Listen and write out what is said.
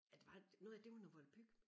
Ah det var det noget af det var noget volapyk